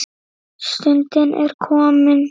Stundin er komin.